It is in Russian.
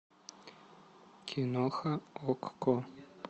киноха окко